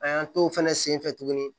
An y'an t'o fɛnɛ senfɛ tuguni